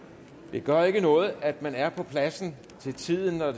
gør ikke noget at man er på pladsen til tiden når